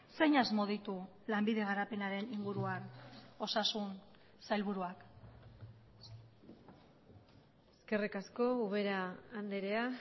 zein asmo ditu lanbide garapenaren inguruan osasun sailburuak eskerrik asko ubera andrea